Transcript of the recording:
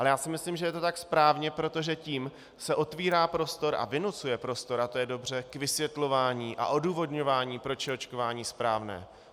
Ale já si myslím, že je to tak správně, protože tím se otevírá prostor a vynucuje prostor, a to je dobře, k vysvětlování a odůvodňování, proč je očkování správné.